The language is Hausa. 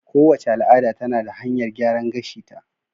Kowace al'ada tana da hanyar gyaran gashi ta